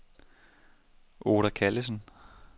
Oda Callesen